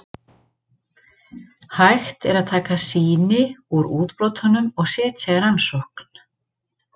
Hægt er að taka sýni úr útbrotunum og setja í rannsókn.